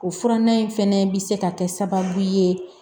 O furanan in fɛnɛ bi se ka kɛ sababu ye